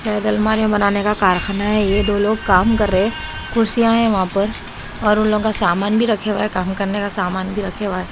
बनाने का कारखाना है यह दो लोग काम कर रहे हैं कुर्सियां है वहां पर और उन लोगों का सामान भी रखे हुआ है काम करने का सामान भी रखे हुआ है।